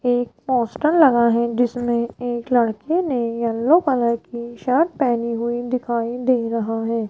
एक पोस्टर लगा है जिसमें एक लड़की ने यल्लो कलर की शर्ट पहनी हुई दिखाई दे रहा है।